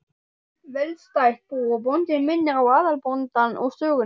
Velstætt bú, og bóndinn minnir á óðalsbóndann úr sögunni.